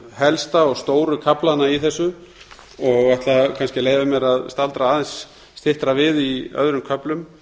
helsta og stóru kaflana í þessu og ætla kannski að leyfa mér að staldra aðeins styttra við í öðrum köflum